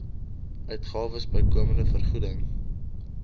uitgawes bykomende vergoeding